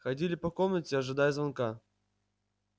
ходили по комнате ожидая звонка